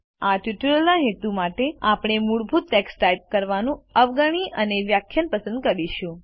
આ ટ્યુટોરીયલના હેતુ માટે આપણે મૂળભૂત ટેક્સ્ટ ટાઇપ કરવાનું અવગણી અને વ્યાખ્યાન પસંદ કરીશું